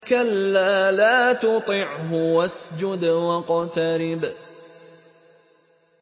كَلَّا لَا تُطِعْهُ وَاسْجُدْ وَاقْتَرِب ۩